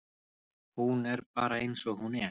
Hún er bara eins og hún er.